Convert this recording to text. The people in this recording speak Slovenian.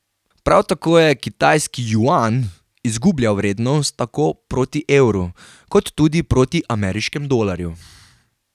Prav tako je kitajski juan izgubljal vrednost tako proti evru, kot tudi proti ameriškemu dolarju.